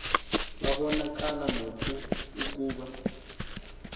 babonakala noko ukuba